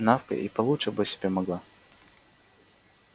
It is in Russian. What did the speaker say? навка и получше бы себе могла